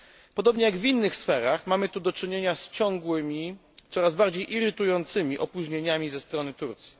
Podobnie jak w innych sferach mamy tu do czynienia z ciągłymi, coraz bardziej irytującymi, opóźnieniami ze strony Turcji.